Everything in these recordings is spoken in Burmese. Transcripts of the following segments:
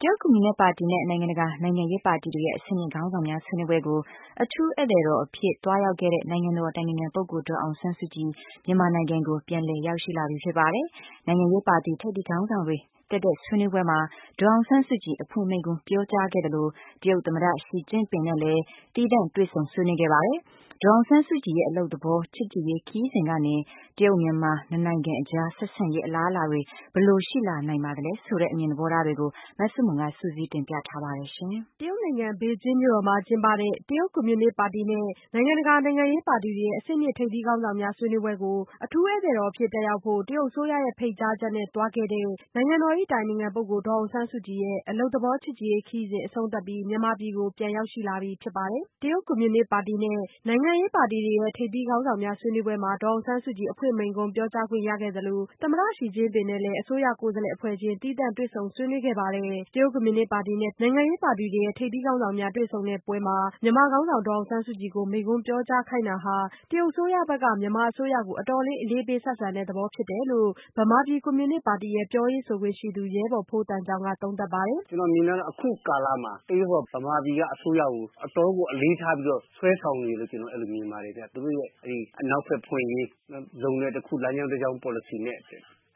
တရုတ်ကွန်မြူနစ်ပါတီနဲ့ နိုင်ငံတကာ နိုင်ငံရေးပါတီတွေရဲ့ အဆင့်မြင့်ခေါင်းဆောင်များ ဆွေးနွေးပွဲကို အထူးဧည့်သည်တော် အဖြစ် သွားရောက်ခဲ့တဲ့ နိုင်ငံတော်အတိုင်ပင်ခံပုဂ္ဂိုလ်ဒေါ်အောင်ဆန်းစုကြည် မြန်မာနိုင်ငံကို ပြန်လည်ရောက်ရှိလာပြီဖြစ်ပါတယ်။ နိုင်ငံရေးပါတီထိပ်သီးခေါင်းဆောင်တွေ တက်တဲ့ဆွေးနွေးပွဲမှာ ဒေါ်အောင်ဆန်းစုကြည် အဖွင့်မိန့်ခွန်းပြောကြားခဲ့သလို တရုတ်သမ္မတရှီကျင့်ပင်နဲ့လည်းသီးသန့်တွေ့ဆုံ ဆွေးနွေးခဲ့ပါတယ်။ ဒေါ်အောင်ဆန်းစုကြည်ရဲ့ အလုပ်သဘော ချစ်ကြည်ရေး ခရီးစဉ်ကနေ တရုတ်-မြန်မာနှစ်နိုင်ငံကြား ဆက်ဆံရေး အလားအလာတွေ ဘယ်လို ရှိလာနိုင်ပါသလဲ ဆိုတဲ့ အမြင်သဘောထားတွေကို မဆုမွန် စုစည်းတင်ပြပေးထားပါတယ်။ တရုတ်နိုင်ငံ ဘေကျင်းမြို့တော်မှာ ကျင်းပတဲ့ တရုတ်ကွန်မြူနစ်ပါတီနဲ့ နိုင်ငံတကာ နိုင်ငံရေးပါတီတွေရဲ့အဆင့်မြင့်ထိပ်သီးခေါင်းဆောင်များဆွေးနွေးပွဲကို အထူးဧည့်သည်တော်အဖြစ် တက်ရောက်ဖို့ တရုတ်အစိုးရရဲ့ ဖိတ်ကြားချက် နဲ့သွားခဲ့တဲ့ နိုင်ငံတော်၏အတိုင်ပင်ခံပုဂ္ဂိုလ် ဒေါ်အောင်ဆန်းစုကြည်ရဲ့ အလုပ်သဘော ချစ်ကြည်ရေးခရီးစဉ်အဆုံးသတ်ပြီး မြန်မာပြည်ကို ပြန်ရောက်ရှိလာပြီဖြစ်ပါတယ်။ တရုတ်ကွန်မြူနစ်ပါတီနဲ့ နိုင်ငံပါတီတွေရဲ့ ထိပ်သီးခေါင်းဆောင်များ ဆွေးနွေးပွဲမှာ ဒေါ်အောင်ဆန်းစုကြည် အဖွင့်မိန့်ခွန်း ပြောကြားခွင့်ရခဲ့သလို သမ္မတရှီကျင့်ပင်နဲ့လည်း အစိုးရကိုယ်စားလှယ်အဖွဲ့ချင်း သီးသန့်တွေ့ဆုံဆွေးနွေးခဲ့ပါတယ်။ တရုတ်ကွန်မြူနစ်ပါတီနဲ့ နိုင်ငံရေးပါတီရဲ့ ထိပ်သီးခေါင်းဆောင်တွေ တွေ့ဆုံတဲ့ပွဲမှာ မြန်မာခေါင်းဆောင်ဒေါ်အောင်ဆန်းစုကြည်ကို မိန့်ခွန်းပြောကြားခိုင်းတာဟာ တရုတ်အစိုးရဘက်က မြန်မာအစိုးရကို အတော်လေး အလေးပေးဆက်ဆံတဲ့သဘော ဖြစ်တယ်လို့ ဗမာပြည်ကွန်မြူနစ်ပါတီ ပြောရေးဆိုခွင့်ရှိသူ ရဲဘော်ဖိုးသံချောင်းက သုံးသပ်ပါတယ်။ "ကျနော်မြင်တာကတော့ အခုကာလမှာ တရုတ်က မြန်မာအစိုးရကို အတော့်ကိုဆွဲဆောင်နေတယ်လို့ ကျနော်မြင်ပါတယ်ခင်ဗျ သူတို့ရဲ့အနောက်ဘက်ဖွင့်ရေး လုပ်ငန်းတခု လမ်းကြောင်းပေါ်လစီနဲ့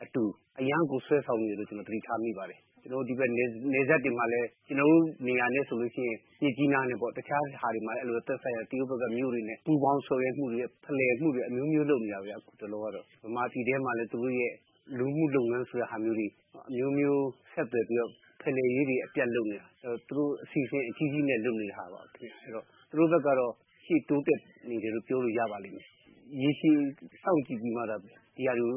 အတူ အရမ်းကို ဆွဲဆောင်နေတယ်လို့ ကျနော်သတိထားမိပါတယ်။ ဒီဘက် နယ်စပ်တွေမှာလည်း ကျနော်တို့နေရာနဲ့ဆိုရင် မြစ်ကြီးနားနဲ့ပေါ့ တခြားဟာတွေမှာလည်း အဲလိုပဲ သက်ဆိုင်ရာမြို့တွေနဲ့ ပူးပေါင်းပြီးတော့ဆောင်ရွက်မှုတွေ ဖလှယ်မှုတွေ အမျိုးမျိုးလုပ်နေတာခင်ဗျ အခုတလော မြန်မာပြည်ထဲမှာလည်း သူတို့ရဲ့ လူမှုလုပ်ငန်းဆိုတာမျိုးတွေ အမျိုးမျိုးဆက်သွယ်ပြီးတော့ ဖလှယ်ရေးတွေ လုပ်နေတာ သူတို့အစီအစဉ်အကြီးကြီးနဲ့ လုပ်နေတာပေါ့နော်။ သူတို့ဘက်ကတော့ ရှေ့တိုးနေတယ်လို့ ပြောရပါလိမ့်မယ်။ ရေရှည်စောင့်ကြည့်ပြီးမှ ဒါတွေကို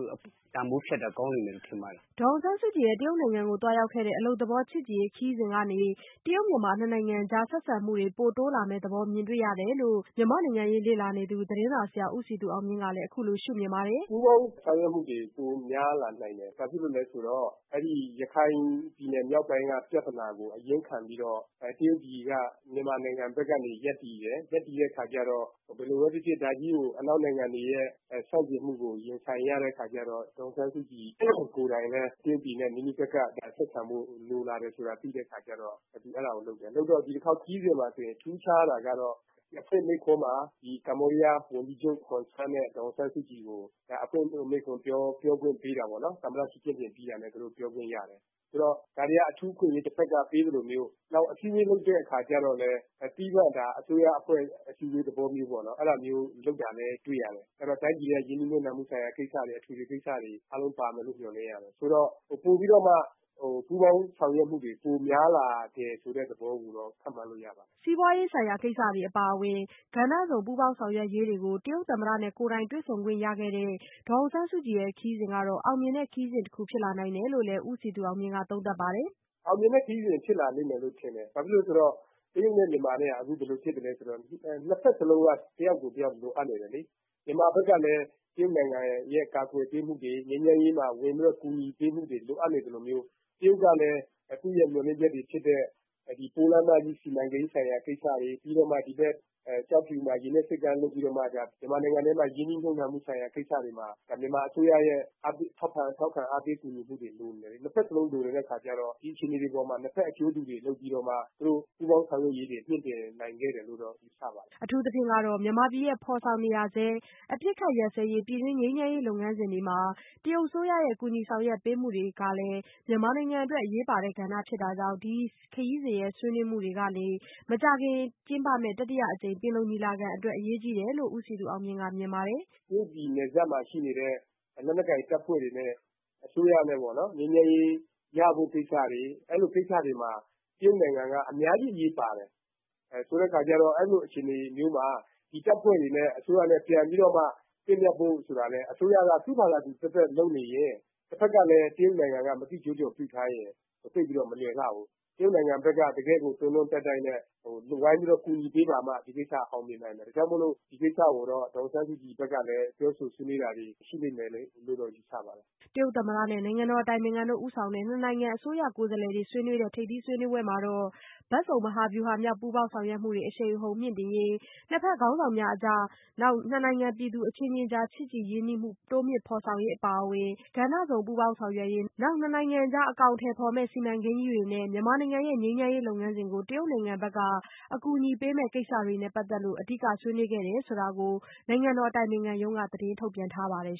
တန်ဖိုးဖြတ်တာကောင်းလိမ့်မယ်လို့ ထင်ပါတယ်။" ဒေါ်အောင်ဆန်းစုကြည်ရဲ့ တရုတ်နိုင်ငံကိုသွားရောက်ခဲ့တဲ့ အလုပ်သဘောချစ်ကြည်ရေးခရီးစဉ်ကနေ တရုတ်-မြန်မာနှစ်နိုင်ငံကြား ဆက်ဆံမှုတွေ ပိုတိုးလာမယ့်သဘောမြင်တွေ့ရတယ်လို့ မြန်မာ့နိုင်ငံရေးလေ့လာနေသူ သတင်းစာဆရာဦးစည်သူအောင်မြင့်ကလည်း အခုလိုရှု့မြင်ပါတယ်။ "ပူးပေါင်းဆောင်ရွက်မှုတွေ ပိုများလာနိုင်တယ် ဘာဖြစ်လို့လဲဆိုတော့ ရခုင်ပြည်နယ်မြောက်ပိုင်းက ပြဿနာကို အရင်းခံပြီးတော့ တရုတ်ပြည်က မြန်မာနိုင်ငံဘက်ကနေ ရပ်တည်တယ်။ ရပ်တည်တဲ့အခါကျတော့ ဘယ်လိုပဲဖြစ်ဖြစ် ဒါကြီးကို အနောက်နိုင်ငံတွေရဲ့ ဆန့်ကျင်မှုကို ရင်ဆိုင်ရတဲ့အခါကျတော့ ဒေါ်အောင်ဆန်းစုကြည်ကိုယ်တိုင်လည်း တရုတ်ပြည်နဲ့ နီးနီးကပ်ကပ် ဆက်ဆံဖို့ လိုလာတယ်ဆိုတာ သိတဲ့အခါကျတော့ သူအဲဒါကို လုပ်တယ်။ လုပ်တော့ ဒီတခေါက်ခရီးစဉ်မှာဆိုရင် ထူးခြားတာကတော့ အဖွင့်မိန့်ခွန်းမှာ Cambodia ဝန်ကြီးချုပ် Hun San နဲ့ ဒေါ်အောင်ဆန်းစုကြည်ကို အဖွင့်မိန့်ခွန်းပြောခွင့်ပေးတာပေါ့နော်။ သမ္မတ ရှီကျင်းပင်ပြီးတာနဲ့ သူတို့ပြောခွင့်ရတယ်။ ဆိုတော့ ဒါတွေက အထူးအခွင့်အရေး တဖက်က ပေးသလိုမျိုး နောက်အစီးအဝေးထုပ်တဲ့အခါကျတော့သီးသန့် အစိုးရအဖွဲ့အစည်းအဝေးလုပ်တဲ့သဘောမျိုးပေါ့။ အဲဒါမျိုးလုပ်တာလည်းတွေ့ရတယ် ဆိုတော့ တိုင်းပြည်ရဲ့ ရင်းနှီးမြုပ်နှံမှုဆိုင်ရာကိစ္စတွေ အထွေထွေကိစ္စတွေအားလုံးပါမယ်လို့ မျှော်လင့်ရတယ်။ ဆိုတော့ ပိုပြီးတော့မှ ပူးပေါင်းဆောင်ရွက်မှုတွေ ပိုများလာတယ်ဆိုတဲ့သဘောကိုတော့ ခန့်မှန်းလို့ ရပါတယ်။" စီးပွားရေး ဆိုင်ရာကိစ္စတွေ အပါအဝင် ကဏ္ဍစုံပူးပေါင်းဆောင်ရွက်ရေးတွေကို တရုတ်သမ္မတနဲ့ကိုယ်တိုင်တွေ့ဆုံခွင့်ရခဲ့တဲ့ ဒေါ်အောင်ဆန်းစုကြည်ရဲ့ ခရီးစဉ်ဟာ အောင်မြင်တဲ့ခရီးစဉ်တခုဖြစ်လာနိုင်တယ်လို့လည်း ဦးစည်သူအောင်မြင့်က သုံးသပ်ပါတယ်။ "အောင်မြင်တဲ့ခရီးစဉ် ဖြစ်လာလိမ့်မယ်လို့ ထင်တယ် ဘာဖြစ်လို့လဲဆိုတော့ တရုတ်နဲ့ မြန်မာနဲ့ကအခု ဘယ်လိုဖြစ်သလဲဆိုတေ့ ၂ ဖက်စလုံးက တယောက်ကိုတယောက်လိုအပ်နေတယ်လေ။ မြန်မာဘက်ကလည်း တရုတ်နိုင်ငံရဲ့ ကာကွယ်ပေးမှုတွေ ငြိမ်းချမ်းရေးမှာ ကူညီပေးမှုတွေ လိုအပ်နေသလိုမျိုး တရုတ်ကလည်း သူ့မျှော်လင့်ချက်တွေဖြစ်တဲ့ ဒီပိုးလမ်းမကြီးစီမံကိန်းဆိုင်ရာကိစ္စတွေ ၊ ကျောက်ဖြူမှာ ရေနက်ဆိပ်ကမ်းလုပ်ပြီးမှ မြန်မာနိုင်ငံထဲမှာ ရင်နှီးမြှပ်နှံမှုဆိုင်ရာ ကိစ္စတွေမှာ မြန်မာအစိုးရရဲ့ အားပေးထောက်ခံကူညီမှုတွေကိုလိုမယ်။ ၂ ဖက်စလုံးလိုနေတဲ့အခါကျတော့ ဒီအခြေအနေတွေပေါ်မှာ ၂ ဖက်အကျိုးတွေလုပ်ပြီးတော့ သူတို့ ပူးပေါင်းဆောင်ရွက်ရေးတွေ မြှင့်တင်နိုင်ခဲ့တယ်လို့ ယူဆပါတယ်။" အထူးသဖြင့်ကတော့ မြန်မာပြည်ရဲ့ ဖော်ဆောင်နေရဆဲ အပစ်ခတ်ရပ်စဲရေးပြည်တွင်း ငြိမ်းချမ်းရေးလုပ်ငန်းစဉ်တွေမှာ တရုတ်အစိုးရရဲ့ ကူညီဆောင်ရွက်ပေးမှုကလည်း မြန်မာနိုင်ငံအတွက် အရေးပါတဲ့ကဏ္ဍဖြစ်နေတာကြောင့် ဒီခရီးစဉ်ရဲ့ ဆွေးနွေးမှုတွေကလည်း မကြာခင်ကျင်းပမယ့် တတိယအကြိမ်ပင်လုံအတွက် အရေးကြီးတယ်လို့ ဦးစည်သူအောင်မြင့်က မြင်ပါတယ်။ "တရုတ်ပြည်နယ်စပ်မှာရှိနေတဲ့ လက်နက်ကိုင်တပ်ဖွဲ့တွေနဲ့ အစိုးရနဲ့ပေါ့နော် ငြိမ်းချမ်းရေးရဖို့ ကိစ္စတွေအဲလိုကိစ္စတွေမှာ တရုတ်နိုင်ငံက အများကြီးအရေးပါတယ်။ ဆိုတဲ့အခါကျတော့ အဲလိုအခြေအနေမျိုးမှာ ဒီတပ်ဖွဲ့တွေနဲ့ အစိုးရနဲ့ ပြန်ပြီးတော့မှ သင့်မြတ်ဖို့ဆိုတာက အစိုးရက သူ့ဖာသာသူလုပ်နေရင် ၊ တဖက်ကလည်း မသိကျိုးကျွန်ပြုထားရင် သိပ်ပြီးတော့ မလွယ်လှဘူး။ တရုတ်နိုင်ငံဘက်က တကယ်ကို တွန်းတွန်းတိုက်တိုက်နဲ့ ကူညီပေးပါမှ ဒီကိစ္စက အောင်မြင်နိုင်မယ်။ ဒါကြောင့်မို့လို့ ဒီကိစ္စကိုတော့ ဒေါ်အောင်ဆန်းစုကြည်ဘက်ကလည်း ပြောဆိုဆွေးနွေးတာတွေ ရှိမယ်လို့ ယူဆပါတယ်။" တရုတ်သမ္မတနဲ့ နိုင်ငံတော်အတိုင်ပင်ခံတို့ဦးဆောင်တဲ့ နှစ်နိုင်ငံ အစိုးရကိုယ်စားလှယ်အဖွဲ့တွေ ဆွေးနွေးတဲ့ ထိပ်သီးဆွေးနွေးပွဲမှာတော့ဘက်စုံ မဟာဗျူဟာမြောက်ပူးပေါင်းဆောင်ရွက်မှုများ အရှိန်အဟုန်မြှင့်တင်ရေး၊ နှစ်ဖက် အဆင့်မြင့် ခေါင်းဆောင်တွေ အကြားနဲ့ နှစ်နိုင်ငံပြည်သူအချင်းချင်းကြား ချစ်ကြည်ရင်းနှီးမှု တိုးမြင့်ဖော်ဆောင်ရေး အပါအဝင် ကဏ္ဍစုံပူးပေါင်း ဆောင်ရွက်ရေး နောက်နှစ်နိုင်ငံအကြား အကောင်အထည်ဖော်မယ့် စီမံကိန်းကြီးတွေနဲ့ မြန်မာနိုင်ငံရဲ့ ငြိမ်းချမ်းရေး လုပ်ငန်းစဉ်ကို တရုတ်နိုင်ငံက အကူအညီပေးမယ့်ကိစ္စတွေနဲ့ပတ်သက်ပြီး အဓိကဆွေးနွေးခဲ့တယ်ဆိုတာ နိုင်ငံတော်အတိုင်ပင်ခံရုံးက သတင်းထုတ်ပြန်ထားပါတယ်